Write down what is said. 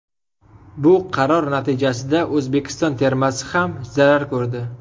Bu qaror natijasida O‘zbekiston termasi ham zarar ko‘rdi.